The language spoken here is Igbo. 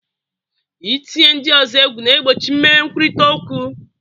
Ị tinye ndị ọzọ egwu na-egbochi emeghe nkwurịta okwu.